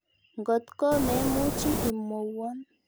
Ngotko me muchi imwowon.